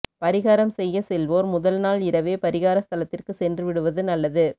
பரிகாரம் செய்ய செல்வோர் முதல்நாள் இரவே பரிகார ஸ்தலத்திற்கு சென்று விடுவது நல்லது